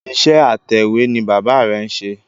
Iṣẹ́ atẹ̀wé ni bàbá rẹ̀ ń ṣe